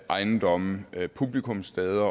ejendomme publikumssteder